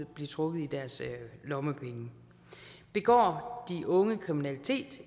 blive trukket i deres lommepenge begår de unge kriminalitet